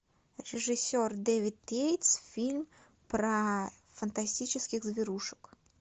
режиссер дэвид гейтс фильм про фантастических зверушек